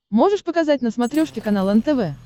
можешь показать на смотрешке канал нтв